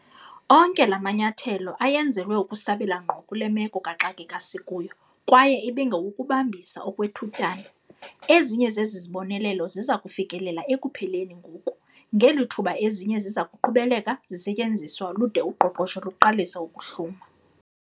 Onke la manyathelo ayenzelwe ukusabela ngqo kule meko kaxakeka sikuyo kwaye ebengawokubambisa okwethutyana. Ezinye zezi zibonelelo ziza kufikelela ekupheleni ngoku, ngeli thuba ezinye ziza kuqhubeleka zisetyenziswa lude uqoqosho luqalise ukuhluma.